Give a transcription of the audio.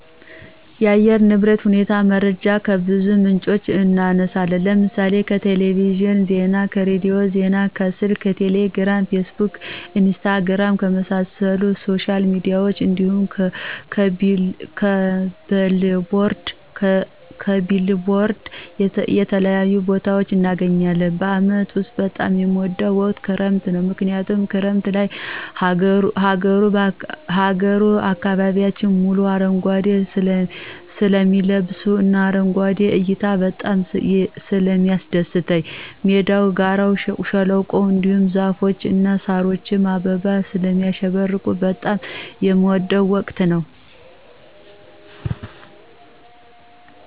የአየር ንብረት ሁኔታ መረጃዎችን ከብዙ ምንጮች እናነሳለን ለምሳሌ :-ከቴሌቪዥን ዜና, ከሬዲዮ ዜና ,ከስልክ ቴሌግራም ,ፌስቡክ ,ኢንስታግራም, ከመሳሰሉት ሶሻል ሚዲያዎች እንዲሁም ,ከቢልቦርድ ከተለያዩ ቦታዎች እናገኛለን። በአመት ውስጥ በጣም የምወደው ወቅት ክረምት ነው ምክንያቱም ክረምት ላይ ሀገሩ አካባቢዎች በሙሉ አረንጓዴ ስለሚለብሱ እና አረንጓዴ እይታ በጣም ስለሚያስደስት ሜዳው, ጋራው, ሸለቆው, እንዲሁም ዛፎች እና ሳሮች በአበባ ስለሚያሸበርቁ በጣም የምወደው ወቅት ነው።